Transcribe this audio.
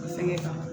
Fɛngɛ kan